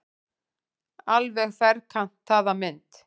Alveg ferkantaða mynd.